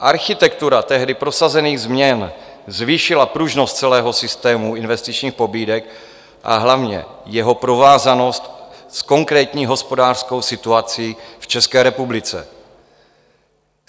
Architektura tehdy prosazených změn zvýšila pružnost celého systému investičních pobídek, a hlavně jeho provázanost s konkrétní hospodářskou situací v České republice.